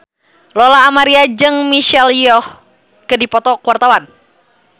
Lola Amaria jeung Michelle Yeoh keur dipoto ku wartawan